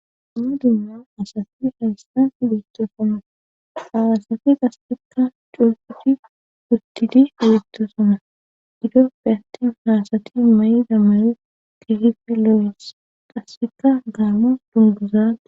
Dumma dumma asasi ayistan idettosoma aasati qassikka curputi wuttidi egettosoma ido beyattin faasati ma7i damaye kehife loo7es qassikka gaamo dunguzaa